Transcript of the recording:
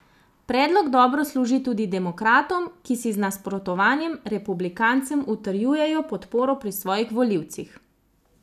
Predlog dobro služi tudi demokratom, ki si z nasprotovanjem republikancem utrjujejo podporo pri svojih volivcih.